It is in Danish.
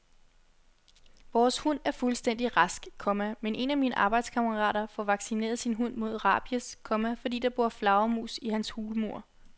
Vores hund er fuldstændig rask, komma men en af mine arbejdskammerater får vaccineret sin hund mod rabies, komma fordi der bor flagermus i hans hulmur. punktum